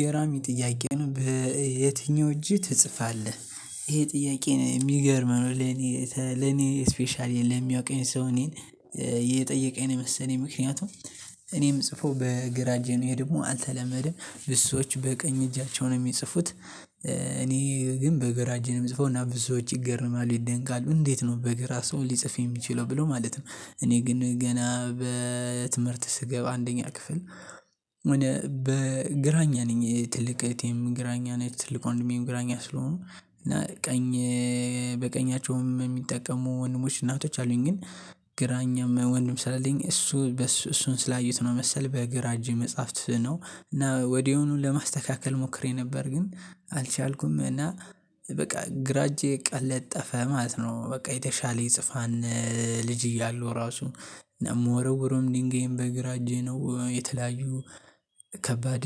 ገራሚ ጥያቄ ነው በየትኛው እጅህ ትጽፋለህ? ይሄ ጥያቄ ነው የሚገርም ነው ለኔ ለኔ ስፔሻሊ ለሚያውቀኝ ሰው እኔን የጠየቀኝ ነው። የመሰለኝ ምክንያቱም እኔም ምጽፈው በግራ እጄ ነወ ይሄ ደግሞ አልተለመደም ብዙ ሰዎች በቀኝ እጃቸው ነው የሚጽፉት። ግን በግራ እጄ እምጽፈው እና ብዙዎች ይገርማሉ ይደንቃሉ እንዴት ነው በግራ ሰው ሊጽፍ የሚችለው ብለው ማለት ነው። እኔ ግን ገና በትምህርት ስገብ አንደኛ ክፍል በግራኛ ነኝ። ትልቅ እህቴም ግራኛ ነኝ ትልቅ ወድሜም ግራኛ ስለሆኑ እና ቀኝ በቀኛቸዉም የሚጠቀሙ ወንድሞች እህቶች አሉኝ። ግን ግራኝም ወንድም ስላለኝ እሱ እሱን ስላየሁት ነው መሰለኝ። በግራ እጄ መጽሐፍት ነው እና ወዲያውኑን ለማስተካከል ሞክሬ ነበር ግን አልቻልኩም እና በቃ ግራጄ ቀለጠፈ ማለት ነው። በቃ የተሻለ የጽፋንል ልጅ እያሉ ራሱ እና እምወረዉረም ድንጋይም በግራ እጄ ነው የተለያዩ ከባድ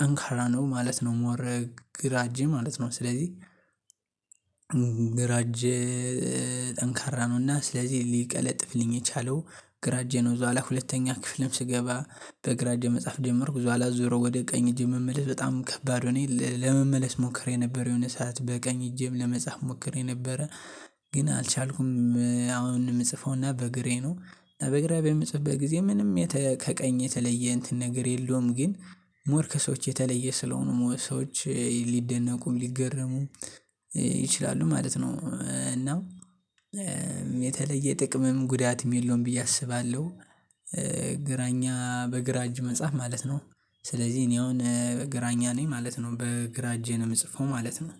ጠንካራ ነው ማለት ነው። ሞር ግራ እጄ ማለት ነው። ስለዚህ ጠንካራ ነውና ስለዚህ ሊቀለጥፍልኝ የቻለው ግራጄ ነው። እዛው ላይ ሁለተኛ ክፍልም ስገባ በግራ እጄ መጻፍ ጀመርኩ በኋላ ዞሮ ወደ ቀኝ እጄ መመለስ በጣም ከባድ ሆኜ ለመመለስ ሞክሬ ነበር የሆነ ሰዓት በቀኝ እጄም ለመጻፍ ሞክሬ ነበረ። ግን አልቻልኩም። አሁን የምጽፈውና በግራዬ ነው በግራዬ በምጽፍበት ጊዜ ምንም ከቀኝ የተለየ እንትን ነገር የለውም ግን ሞር ከሰዎች የተለየ ስለሆኑ ሰዎች ሊደነቁም ሊገረሙም ይችላሉ ማለት ነው። እና የተለየ ጥቅምም ጉዳትም የለውም ብዬ አስባለሁ። ግራኛ በግራ እጅ መጽሐፍ ማለት ነው። ስለዚህ እኔ አሁን ግራኝ ነኝ ማለት ነው በግራ እጄ ነው የምጽፈው ማለት ነው።